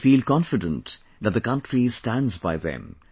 They feel confident that the country stands by them